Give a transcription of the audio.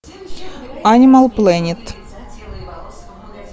анимал плэнет